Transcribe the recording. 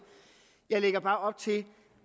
jeg lægger bare op til